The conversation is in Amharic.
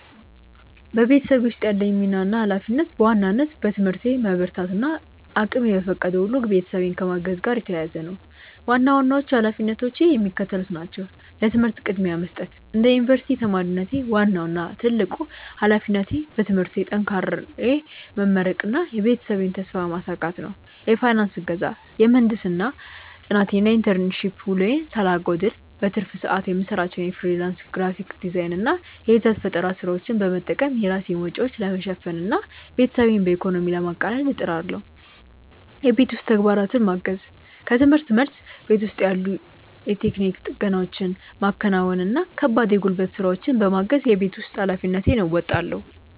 በቤተሰቤ ውስጥ ያለኝ ሚና እና ኃላፊነት በዋናነት በትምህርቴ መበርታት እና እቅሜ በፈቀደው ሁሉ ቤተሰቤን ከማገዝ ጋር የተያያዘ ነው። ዋና ዋናዎቹ ኃላፊነቶቼ የሚከተሉት ናቸው፦ ለትምህርት ቅድሚያ መስጠት፦ እንደ ዩኒቨርሲቲ ተማሪነቴ፣ ዋናው እና ትልቁ ኃላፊነቴ በትምህርቴ ጠንክሬ መመረቅና የቤተሰቤን ተስፋ ማሳካት ነው። የፋይናንስ እገዛ፦ የምህንድስና ጥናቴን እና የኢንተርንሺፕ ውሎዬን ሳላጓድል፣ በትርፍ ሰዓቴ የምሰራቸውን የፍሪላንስ ግራፊክ ዲዛይን እና የይዘት ፈጠራ ስራዎች በመጠቀም የራሴን ወጪዎች ለመሸፈን እና ቤተሰቤን በኢኮኖሚ ለማቃለል እጥራለሁ። የቤት ውስጥ ተግባራትን ማገዝ፦ ከርምህርት መልስ፣ ቤት ውስጥ ያሉ የቴክኒክ ጥገናዎችን ማከናወን እና ከባድ የጉልበት ስራዎችን በማገዝ የቤት ውስጥ ኃላፊነቴን እወጣለሁ።